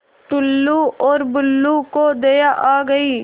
टुल्लु और बुल्लु को दया आ गई